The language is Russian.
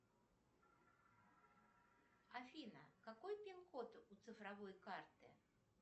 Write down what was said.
афина какой пин код у цифровой карты